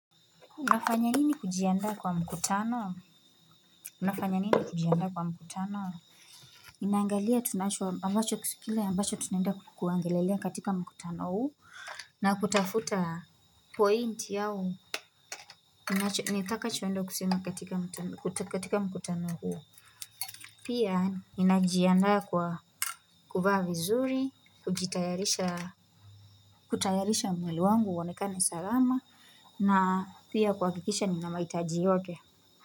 Unafanya nini kujiandaa kwa mkutano unafanya nini kujianda kwa mkutano naangalia tunacho ambacho kile ambacho tunaenda kuongelelea katika mkutano huu na kutafuta point au nitaka choenda kusema katika mkutano huu pia ninajianda kwa kuvaa vizuri kujitayarisha kutayarisha mwili wangu uonekane salama na pia kuakikisha nina mahitajioge.